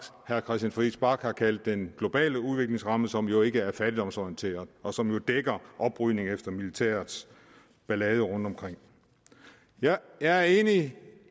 herre christian friis bach har kaldt den globale udviklingsramme som jo ikke er fattigdomsorienteret og som jo dækker oprydning efter militærets ballade rundtomkring jeg er enig